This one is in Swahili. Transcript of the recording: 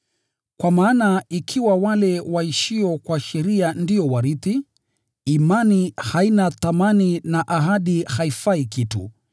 Kwa maana ikiwa wale waishio kwa sheria ndio warithi, imani haina thamani na ahadi haifai kitu,